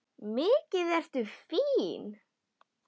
Mikið ertu fín!